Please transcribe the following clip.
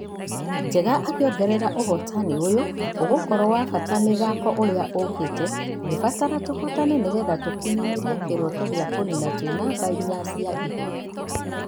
Njega akĩongerera ũhotani ũyũ ũgũkorwo wabata mĩthako ũkĩte ĩrĩa ĩgũbatara tũhotane nĩgetha tũkinyanĩrie kĩroto gĩa kũnina twĩ namba inya cia igũrũ.